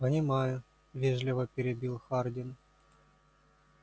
понимаю вежливо перебил хардин